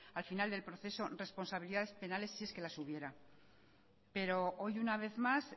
al final del proceso responsabilidades penales si es que las hubiera pero hoy una vez más